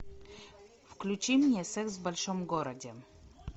включи мне секс в большом городе